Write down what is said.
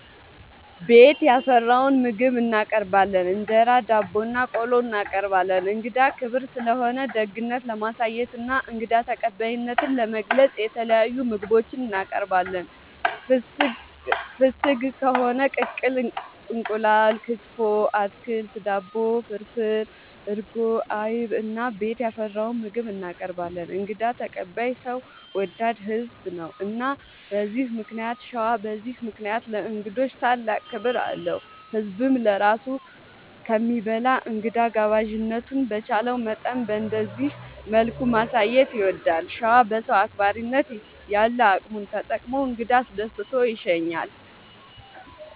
ቤት ያፈራውን ምግብ እናቀርባለን እንጀራ፣ ዳቦናቆሎ እናቀርባለን። እንግዳ ክብር ስለሆነ ደግነት ለማሳየትና እንግዳ ተቀባይነትን ለመግለፅ የተለያዩ ምግቦች እናቀርባለን። ፍስግ ከሆነ ቅቅል እንቁላል፣ ክትፎ፣ አትክልት፣ ዳቦ፣ ፍርፍር፣ እርጎ፣ አይብ እና ቤት ያፈራውን ምግብ እናቀርባለን እንግዳ ተቀባይ ሰው ወዳድ ህዝብ ነው። እና በዚህ ምክንያት ሸዋ በዚህ ምክንያት ለእንግዶች ታላቅ ክብር አለው። ህዝብም ለራሱ ከሚበላ እንግዳ ጋባዥነቱን በቻለው መጠን በእንደዚህ መልኩ ማሳየት ይወዳል። ሸዋ በሰው አክባሪነት ያለ አቅሙን ተጠቅሞ እንግዳ አስደስቶ ይሸኛል።